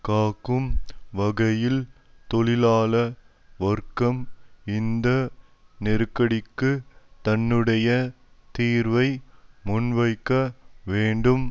காக்கும் வகையில் தொழிலாள வர்க்கம் இந்த நெருக்கடிக்கு தன்னுடைய தீர்வை முன்வைக்க வேண்டும்